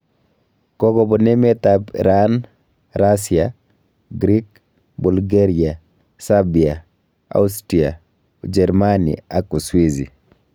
Kokobun emet ab Iran, Rasia, Grik, Bulgaria, Serbia, Austria, Ujerimani ak Uswizi